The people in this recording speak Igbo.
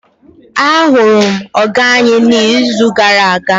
ahuru m oga anyi n'izu gara aga